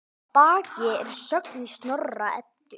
Að baki er sögn í Snorra-Eddu